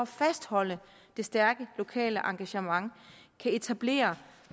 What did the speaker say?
fastholde det stærke lokale engagement kan etablere